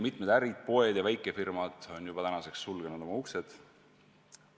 Mitmed ärid, poed ja väikefirmad on tänaseks oma uksed juba sulgenud.